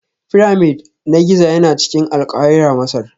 Pyramid na Giza yana cikin Alkahira Masar